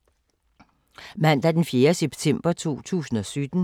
Mandag d. 4. september 2017